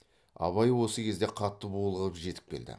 абай осы кезде қатты булығып жетіп келді